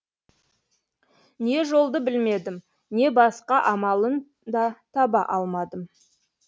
не жолды білмедім не басқа амалын да таба алмадым